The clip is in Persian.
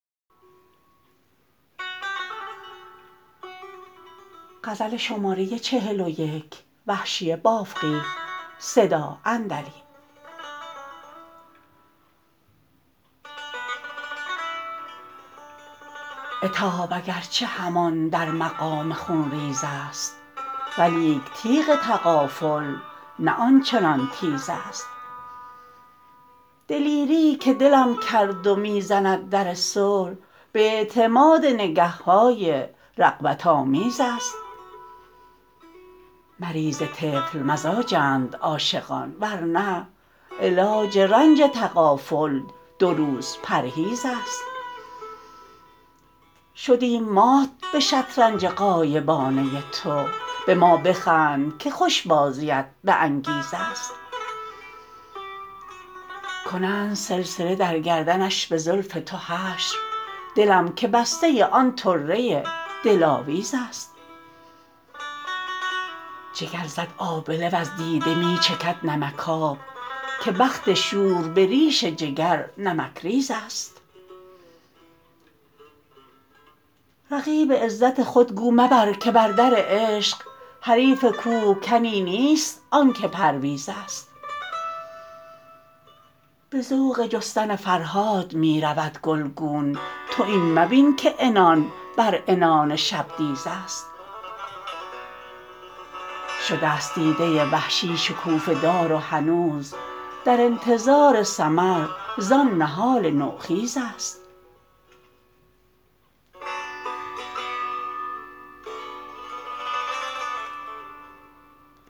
عتاب اگر چه همان در مقام خونریز است ولیک تیغ تغافل نه آنچنان تیز است دلیریی که دلم کرد و می زند در صلح به اعتماد نگه های رغبت آمیز است مریض طفل مزاجند عاشقان ورنه علاج رنج تغافل دو روز پرهیز است شدیم مات به شطرنج غایبانه تو به ما بخند که خوش بازیت به انگیز است کنند سلسله در گردنش به زلف تو حشر دلم که بسته آن طره دلاویز است جگر زد آبله وز دیده می چکد نمکاب که بخت شور به ریش جگر نمکریز است رقیب عزت خود گو مبر که بردر عشق حریف کوهکنی نیست آنکه پرویز است به ذوق جستن فرهاد می رود گلگون تو این مبین که عنان بر عنان شبدیز است شدست دیده وحشی شکوفه دار و هنوز در انتظار ثمر زان نهال نوخیز است